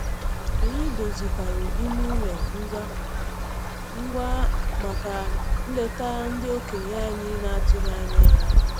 Anyị dozikwaru ime ụlọ ngwa ngwa maka nleta ndị okenye anyị na-atụghị anya ya.